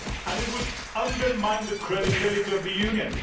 It would undermine the credibility of the Union.